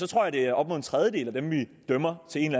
tror jeg det er op mod en tredjedel af dem vi dømmer til en